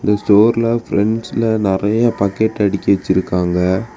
செவர்ல பிராண்ட்ஸ்ல நெறைய பக்கெட் அடிக்கி வச்சிருக்காங்க.